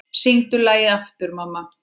Syngdu lagið aftur, mamma